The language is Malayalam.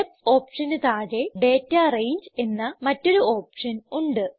സ്റ്റെപ്സ് ഓപ്ഷന് താഴെ ഡാറ്റ രംഗെ എന്ന മറ്റൊരു ഓപ്ഷൻ ഉണ്ട്